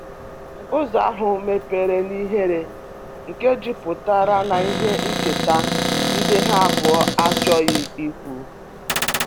Ụzo ahu mebere n'ihere nke juputara n'ihe ncheta ndi ha abuo achoghi ikwu